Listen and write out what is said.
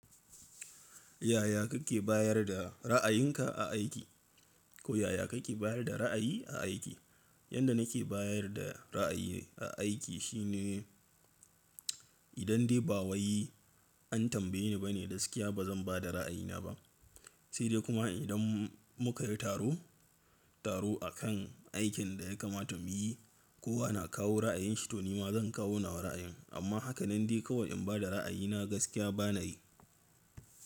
Yaya kake bayar da ra'ayinka a aiki? Ko yaya kake bayar da ra'ayi a aiki? Yanda nake bayar da ra'ayi a aiki shine idan dai ba wai an tambaye ni bane gaskiya bazan bada ra'ayina ba. Sai dai kuma idan mukayi taro, taro akan aikin da ya kamata mu yi, kowa na kawo ra'ayin shi tonima zan kawo nawa ra'ayin. Amma hakanan dai kawai in bada ra'ayina gaskiya banayi.